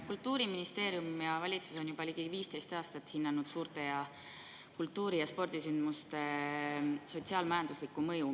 Kultuuriministeerium ja valitsus on juba ligi 15 aastat hinnanud suurte kultuuri‑ ja spordisündmuste sotsiaal-majanduslikku mõju.